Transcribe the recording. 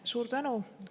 Suur tänu!